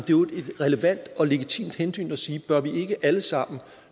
relevant og legitimt hensyn at sige bør vi ikke alle sammen